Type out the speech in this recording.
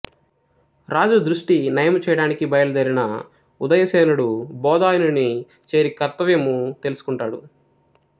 రాజు దృష్టి నయముచేయటానికి బయలుదేరిన ఉదయసేనుడు బోధాయనుని చేరి కర్తవ్యము తెలుసుకుంటాడు